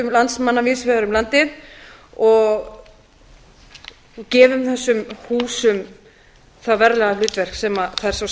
landsmanna víðs vegar um landið og gefum þessum húsum það verða hlutverk sem þær svo